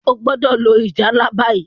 o gbódò lo ìjálá bayi!